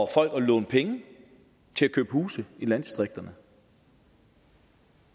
folk at låne penge til at købe huse i landdistrikterne